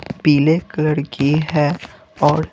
पीले कलर की है और--